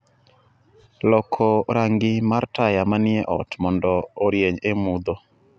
loko rangi mar taya manie ot mondo orieny e mudho